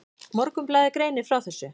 Morgunblaðið greinir frá þessu.